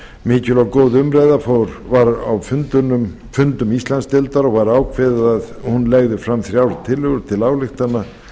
mikil og góð umræða var á fundum íslandsdeildar og var ákveðið að hún legði fram þrjár tillögur til ályktana